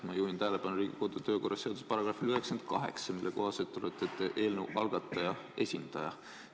Ma juhin tähelepanu Riigikogu kodu- ja töökorra seaduse §-le 98, mille kohaselt olete te eelnõu algataja esindaja.